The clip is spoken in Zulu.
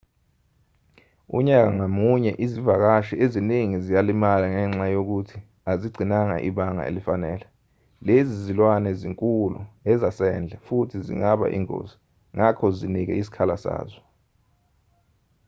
unyaka ngamunye izivakashi eziningi ziyalimala ngenxa yokuthi azigcinanga ibanga elifanele lezi zilwane zinkulu ezasendle futhi zingaba ingozi ngakho zinike isikhala sazo